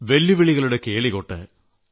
വെല്ലുവിളികളുടെ കേളികൊട്ട്